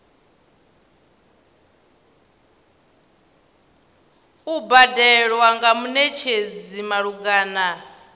u badelwa nga munetshedzi malugana